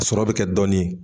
A sɔrɔ bɛ kɛ dɔɔnin